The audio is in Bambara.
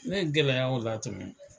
Min gɛlɛya b'a fɛ yan tumi .